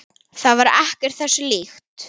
Það var ekkert þessu líkt.